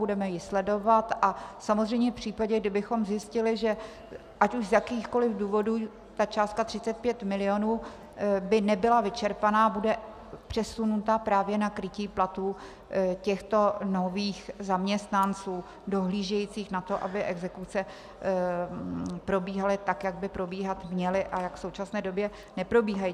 Budeme ji sledovat a samozřejmě v případě, kdybychom zjistili, že ať už z jakýchkoli důvodů ta částka 35 milionů by nebyla vyčerpána, bude přesunuta právě na krytí platů těchto nových zaměstnanců dohlížejících na to, aby exekuce probíhaly tak, jak by probíhat měly a jak v současné době neprobíhají.